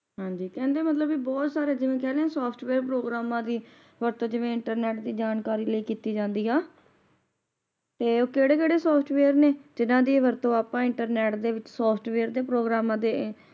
ਹਾਂਜੀ ਕਹਿੰਦੇ ਮਤਲਬ ਇਹ ਬਹੁਤ ਸਾਰੇ ਜਿਵੇ ਕਹਿੰਦੇ ਨੇ Software ਪ੍ਰੋਗ੍ਰਾਮਾਂ ਦੀ ਵਰਤੋਂ ਜਿਵੇ internet ਦੀ ਜਾਣਕਾਰੀ ਲਈ ਕਿੱਤੀ ਜਾਂਦੀ ਹਾ ਤੇ ਉਹ ਕੇੜੇ-ਕੇੜੇ software ਨੇ ਜਿੰਨਾ ਦੀ ਵਰਤੋਂ ਅੱਪਾ internet ਦੇ ਵਿਚ ਦੇ software ਪ੍ਰੋਗ੍ਰਾਮਾਂ ਦੇ